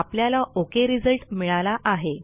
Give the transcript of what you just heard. आपल्याला okay result मिळाला आहे